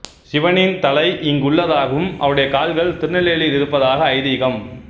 சிவனின் தலை இங்குள்ளதாகவும் அவருடைய கால்கள் திருநெல்லியில் இருப்பதாக ஐதீகம்